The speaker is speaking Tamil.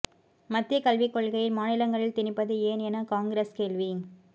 மத்திய கல்விக் கொள்கையைத் மாநிலங்களில் திணிப்பது ஏன் என காங்கிரஸ் கேள்வி